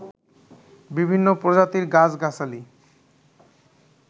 বিভিন্ন প্রজাতির গাছ-গাছালি